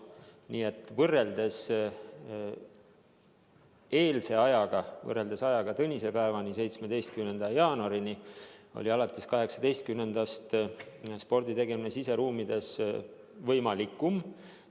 Nii et võrreldes ajaga tõnisepäevani, 17. jaanuarini on alates 18. jaanuarist sporditegemine siseruumides võimalikum.